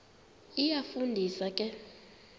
iyafu ndisa ke